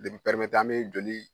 De b'i pɛrimete an be joli